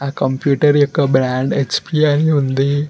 Computer యొక్క brand H P ఉంది.